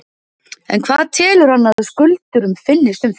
En hvað telur hann að skuldurum finnist um þau?